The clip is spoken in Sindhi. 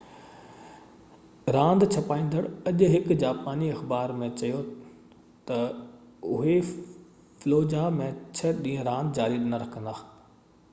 راند ڇپائيندڙ اڄ هڪ جاپاني اخبار ۾ چيو تہ اهي فلوجاه ۾ ڇهہ ڏينهن راند جاري نہ رکندا